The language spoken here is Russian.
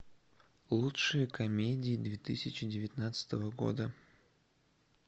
лучшие комедии две тысячи девятнадцатого года